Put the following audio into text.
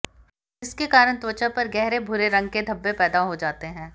जिसके कारण त्वचा पर गहरे भूरे रंग के धब्बे पैदा हो जाते हैं